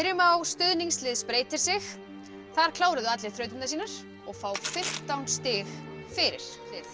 á stuðningslið spreytir sig þar kláruðu allir þrautirnar sínar og fá fimmtán stig fyrir